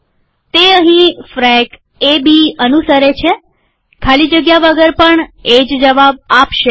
તે અહીં frac A B અનુસરે છેખાલી જગ્યા વગર પણ એ જ જવાબ આપશે